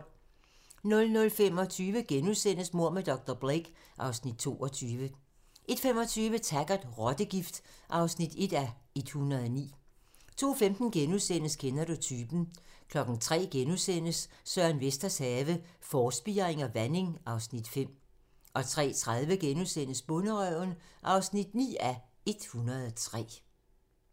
00:25: Mord med dr. Blake (Afs. 22)* 01:25: Taggart: Rottegift (1:109) 02:15: Kender du typen? * 03:00: Søren Vesters have - Forspiring og vanding (Afs. 5)* 03:30: Bonderøven (9:103)*